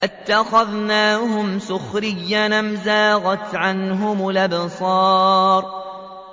أَتَّخَذْنَاهُمْ سِخْرِيًّا أَمْ زَاغَتْ عَنْهُمُ الْأَبْصَارُ